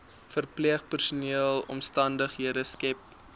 verpleegpersoneel omstandighede skep